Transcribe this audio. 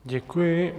Děkuji.